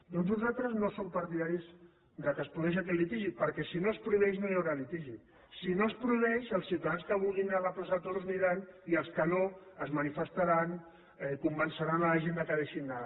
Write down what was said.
doncs nosaltres no som partidaris que es produeixi aquest litigi perquè si no es prohibeix no hi haurà litigi si no es prohibeix els ciutadans que vulguin anar a la plaça de toros hi aniran i els que no es manifestaran convenceran la gent que hi deixi d’anar